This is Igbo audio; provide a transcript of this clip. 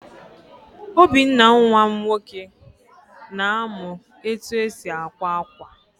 Obinna nwa m nwoke, na-amụ etu esi àkwá ákwà.